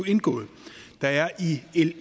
indgået der er i l